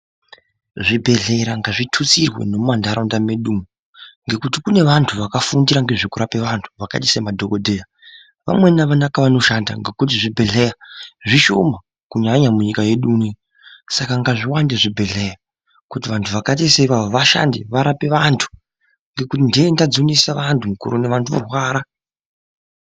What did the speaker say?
Zvibhedhlera ngazvitutsirwe nemumantaraunda mwedu umo ngekuti kune vantu vakafundira ngezvekurape antu, vamweni avana nekwavanoshanda ngekuti zvibhedhlera zvishoma kunyanya munyika yedu umu, saka ngazviwande zvibhedhleya kuti vantu vakaita saivavo vashande varape vantu ngekuti ntenta dzonesa vantu ngekurwara.